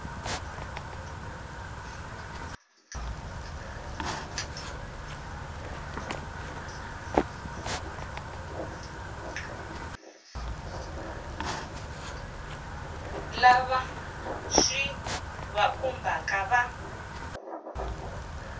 lava swi va khumbhaka va